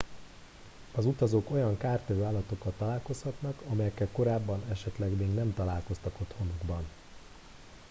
az utazók olyan kártevő állatokkal találkozhatnak amelyekkel korábban esetleg még nem találkoztak otthonukban